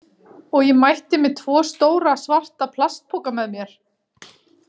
Og ég mætti með tvo stóra, svarta plastpoka með mér.